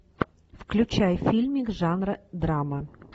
включай фильмик жанра драма